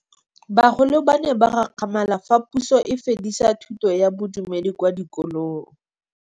Bagolo ba ne ba gakgamala fa Pusô e fedisa thutô ya Bodumedi kwa dikolong.